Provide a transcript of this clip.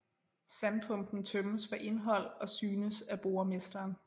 Sandpumpen tømmes for indhold og synes af boremesteren